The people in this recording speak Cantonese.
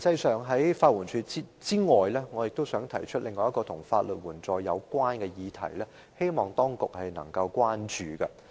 除了法援署外，我亦想提出另一項與法律援助相關的議題，希望當局多加關注。